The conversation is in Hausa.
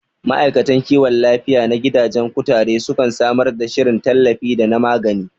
Ma'aikatan kiwon lafiya na gidajen kutare sukan samar da shirin tallafi da na magani